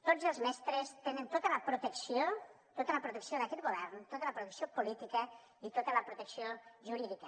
tots els mestres tenen tota la protecció tota la protecció d’aquest govern tota la protecció política i tota la protecció jurídica